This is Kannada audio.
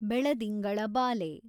ಬೆಳದಿಂಗಳ ಬಾಲೆ